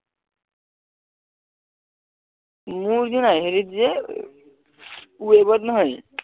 মোৰ যে না হেৰিত যে web ত নহয়